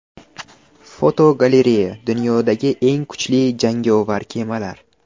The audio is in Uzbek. Fotogalereya: Dunyodagi eng kuchli jangovar kemalar.